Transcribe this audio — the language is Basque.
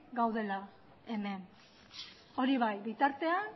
gaudela hemen hori bai bitartean